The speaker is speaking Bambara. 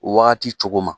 Wagati cogo ma